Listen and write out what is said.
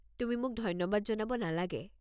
তুমি মোক ধন্যবাদ জনাব নালাগে।